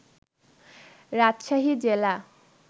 রাজশাহী জেলা